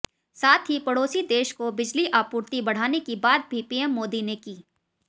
साथ ही पड़ोसी देश को बिजली आपूर्ति बढ़ाने की बात भी पीएम मोदी ने की